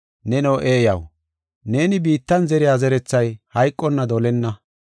Neno eeyaw, neeni biittan zeriya zerethay hayqonna dolenna.